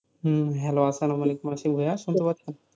হুঁ, Hello আসলামওয়ালেকুম আশিক ভাইয়া শুনতে পারছো?